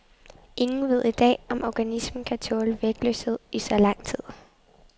Ingen ved i dag, om organismen kan tåle vægtløshed i så lang tid.